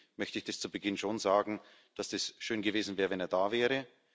deswegen möchte ich das zu Beginn schon sagen, dass es schön gewesen wäre, wenn er da wäre.